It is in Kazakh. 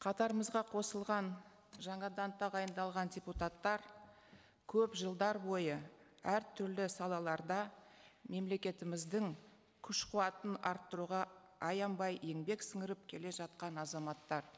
қатарымызға қосылған жаңадан тағайындалған депутаттар көп жылдар бойы әртүрлі салаларда мемлекетіміздің күш қуатын арттыруға аянбай еңбек сіңіріп келе жатқан азаматтар